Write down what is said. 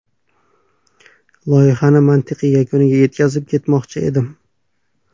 Loyihani mantiqiy yakuniga yetkazib, ketmoqchi edim.